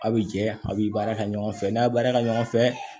Aw bi jɛ a' bɛ baara kɛ ɲɔgɔn fɛ n'a baarakɛ ɲɔgɔn fɛ